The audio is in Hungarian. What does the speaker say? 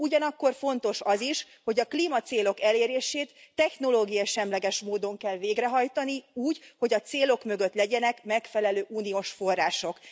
Ugyanakkor fontos az is, hogy a klímacélok elérését technológiasemleges módon kell végrehajtani úgy, hogy a célok mögött legyenek megfelelő uniós források.